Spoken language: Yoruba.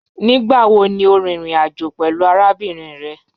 Nigbawo ni o rin irin ajo pẹlu arabinrin rẹ?